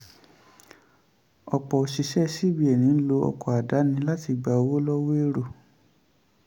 ọ̀pọ̀ òṣìṣẹ́ cbn ń lo ọkọ̀ àdáni láti gba owó lọ́wọ́ èrò.